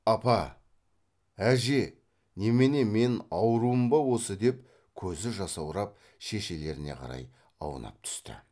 апа әже немене мен аурумын ба осы деп көзі жасаурап шешелеріне қарай аунап түсті